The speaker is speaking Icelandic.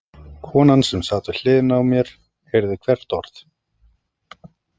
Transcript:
Konan sem sat við hliðina á mér heyrði hvert orð.